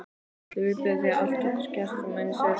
Öllu viðbúin því allt getur gerst meðan ég sef.